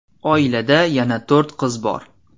Oilada yana to‘rt qiz bor.